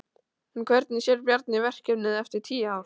En hvernig sér Bjarni verkefnið eftir tíu ár?